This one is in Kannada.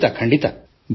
ಖಂಡಿತ ಖಂಡಿತ